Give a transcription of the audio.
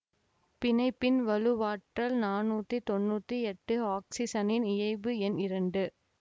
பிணைப்பின் வலுவாற்றல் நானூத்தி தொன்னூத்தி எட்டு ஆக்சிசனின் இயைபு எண் இரண்டு